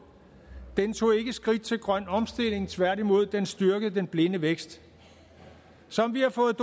den tog ikke skridt til grøn omstilling tværtimod den styrkede den blinde vækst som vi har fået